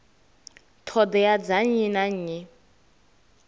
ṱhoḓea dza nnyi na nnyi